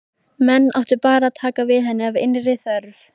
Menn áttu bara að taka við henni af innri þörf.